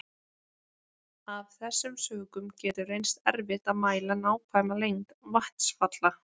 Af þessum sökum getur reynst erfitt að mæla nákvæma lengd vatnsfalla.